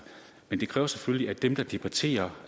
men det kræver selvfølgelig at dem der debatterer